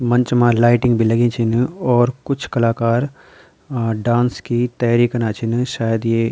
मंच मा लाइटिंग भी लगीं छिन और कुछ कलाकार अ डांस की तयारी कना छिन शायद ये --